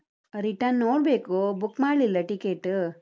Return ನೋಡ್ಬೇಕು, book ಮಾಡ್ಲಿಲ್ಲ ticket .